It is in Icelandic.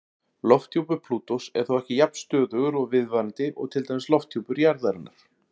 Lofthjúpur Plútós er þó ekki jafn stöðugur og viðvarandi og til dæmis lofthjúpur jarðarinnar.